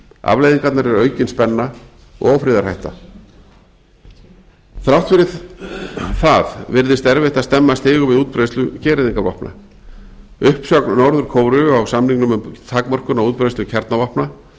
afleiðingarnar eru aukin spenna og ófriðarhætta þrátt fyrir það virðist erfitt að stemma stigu við útbreiðslu gereyðingarvopna uppsögn norður kóreu á samningnum um takmörkun á útbreiðslu kjarnavopna